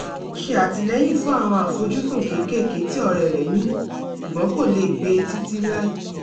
ó ṣè àtìlẹ́yìn fún àwọn àfojúsùn kékéèké tí ọ̀rẹ́ rẹ̀ ní ṣùgbọ́n kò lè gbé e títí láí